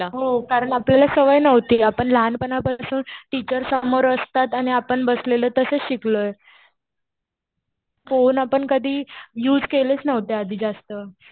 हो. कारण आपल्याला सवय नव्हती. आपण लहानपणापासून टीचर समोर असतात आणि आपण बसलेलो तसेच शिकलोय. फोन आपण कधी युज केलेच नव्हते आधी जास्त.